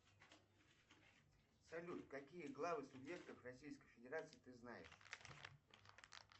салют какие главы субъектов российской федерации ты знаешь